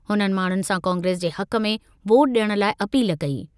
हुननि माण्हुनि सां कांग्रेस जे हक़ में वोट ॾियण लाइ अपील कई।